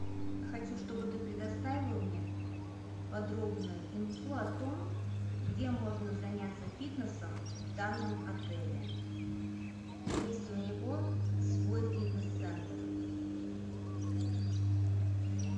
хочу чтобы ты предоставил мне подробную инфу о том где можно заняться фитнесом в данном отеле есть ли у него свой фитнес центр